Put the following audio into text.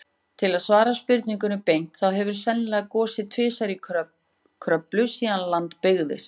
Til að svara spurningunni beint, þá hefur sennilega gosið tvisvar í Kröflu síðan land byggðist.